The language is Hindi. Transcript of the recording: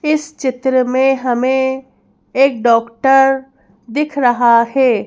इस चित्र में हमें एक डॉक्टर दिख रहा है।